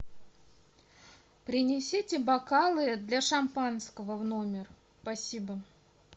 принесите бокалы для шампанского в номер спасибо